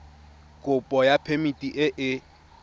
kopo ya phemiti e e